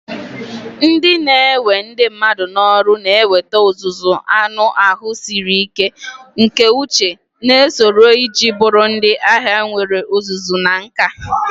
Ndị na-ewe ndị mmadụ n'ọrụ na-enweta ọzụzụ anụ ahụ siri ike, nke uche, na usoro iji bụrụ ndị agha nwere ọzụzụ na nka.